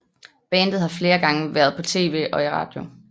Bandet har flere gange været på TV og i radio